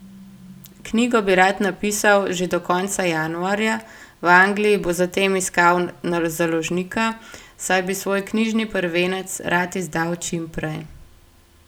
Knjigo bi rad napisal že do konca januarja, v Angliji bo zatem iskal založnika, saj bi svoj knjižni prvenec rad izdal čim prej.